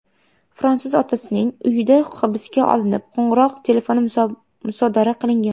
Fransuz otasining uyida hibsga olinib, qo‘ng‘iroq telefoni musodara qilingan.